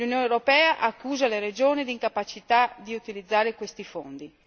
l'Unione europea accusa le regioni d'incapacità di utilizzare questi fondi.